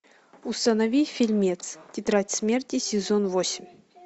установи фильмец тетрадь смерти сезон восемь